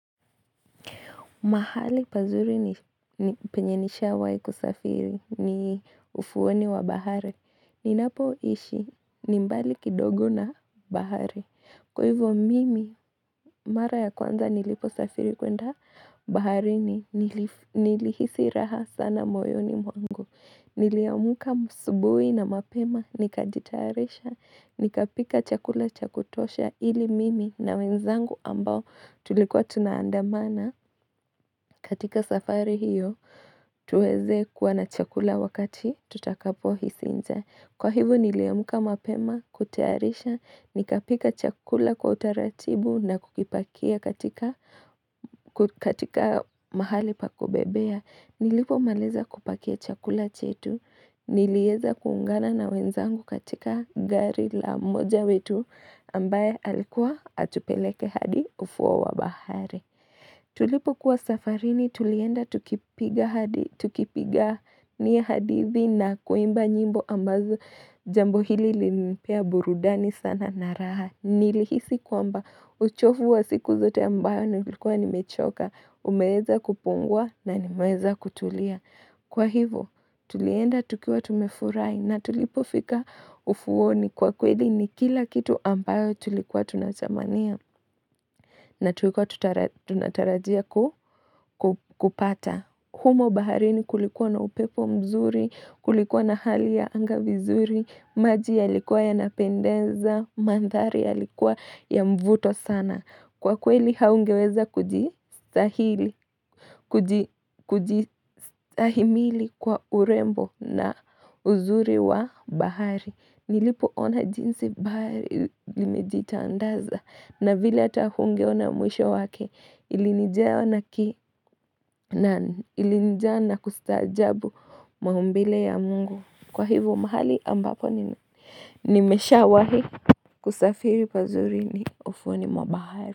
Mahali pazuri ni penye nisha wai kusafiri ni ufuoni wa bahari. Ninapo ishi, nimbali kidogo na bahari. Kwa hivo mimi, mara ya kwanza nilipo safiri kuenda bahari ni nilihisi raha sana moyoni mwangu. Niliamuka asubui na mapema, nikajitayarisha, nikapika chakula chakutosha ili mimi na wenzangu ambao tulikuwa tunaandamana. Katika safari hiyo, tuweze kuwa na chakula wakati, tutakapo hisi njaa. Kwa hivo niliamka mapema, kutayarisha, nikapika chakula kwa utaratibu na kukipakia katika mahali pakubebea. Nilipo maliza kupakia chakula chetu, nilieza kuungana na wenzangu katika gari la mmoja wetu ambaye alikuwa atupeleke hadi ufuo wabahari. Tulipo kuwa safarini tulienda tukipiga ni hadithi na kuimba nyimbo ambazo jambo hili lilinipea burudani sana naraha. Nilihisi kwamba uchofu wa siku zote ambayo nilikuwa ni mechoka. Umeweza kupungua na nimeweza kutulia. Kwa hivo tulienda tukiwa tumefurai na tulipo fika ufuoni kwa kweli ni kila kitu ambayo tulikuwa tunathamania. Na tuikuwa tunatarajia kupata. Humo bahari ni kulikuwa na upepo mzuri, kulikuwa na hali ya anga vizuri, maji ya likuwa ya napendenza, mandhari ya likuwa ya mvuto sana. Kwa kweli haungeweza kujistahili, kujistahimili kwa urembo na uzuri wa bahari. Nilipo ona jinsi bae limejita andaza na vile ata hunge ona mwisho wake ilinijaa na kustahajabu maumbile ya mungu kwa hivyo mahali ambapo nimesha wahi kusafiri pazuri ni ufuoni mwabahari.